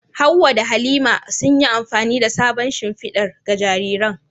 Hawwa da Halima, sun yi amfani da sabon shimfidar ga jariran.